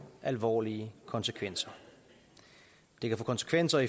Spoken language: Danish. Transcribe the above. alvorlige konsekvenser det kan få konsekvenser